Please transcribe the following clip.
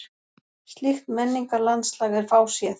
Slíkt menningarlandslag er fáséð.